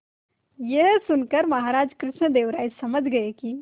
यह सुनकर महाराज कृष्णदेव राय समझ गए कि